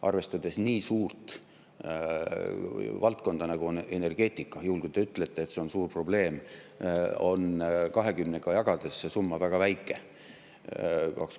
Arvestades nii suurt valdkonda, nagu on energeetika – kui te ütlete, et see on suur probleem, siis 20-ga jagades on see summa väga väike.